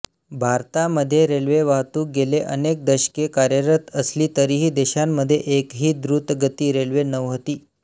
भारतामध्ये रेल्वे वाहतूक गेले अनेक दशके कार्यरत असली तरीही देशामध्ये एकही द्रुतगती रेल्वे नव्हती